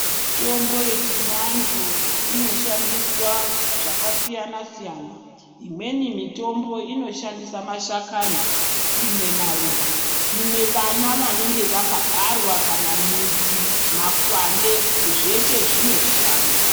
Mitombo yechivantu inoshandiswa zvakasiyana siyana. Imweni mitombo inoshandisa mashakani, imwe maruva, imwe vana vanenge vakabarwa kana midzi, makwande zveshe zvinoshanda.